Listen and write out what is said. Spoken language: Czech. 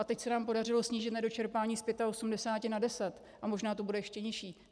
A teď se nám podařilo snížit nedočerpání z 85 na 10 a možná to bude ještě nižší.